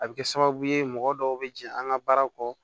A bɛ kɛ sababu ye mɔgɔ dɔw bɛ jɛ an ka baaraw kɔ